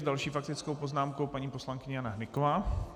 S další faktickou poznámkou paní poslankyně Jana Hnyková.